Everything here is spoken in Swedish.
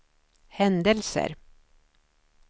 händelser